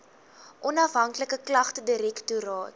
onafhanklike klagtedirektoraat